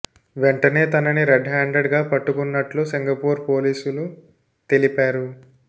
వెంటనే తనని red handed గా పట్టుకున్నట్లు సింగపూర్ పోలీసులు తెలిపారు